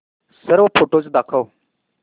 सर्व फोटोझ दाखव